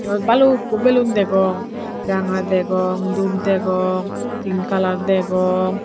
eyod balukko beloon degong ranga degong dub degong pink colour degong.